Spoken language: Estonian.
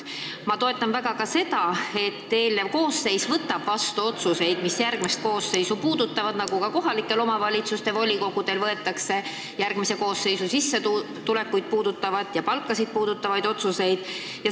Ma toetan väga ka seda, et eelnev koosseis võtab vastu otsuseid, mis puudutavad järgmist koosseisu, nagu ka kohalike omavalitsuste volikogud võtavad vastu otsuseid, mis puudutavad järgmise koosseisu sissetulekut ja palka.